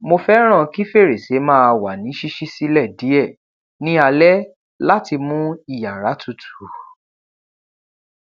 mo fẹràn kí fèrèsé máa wà ní ṣiṣi silẹ diẹ ní alé láti mú iyàrá tutù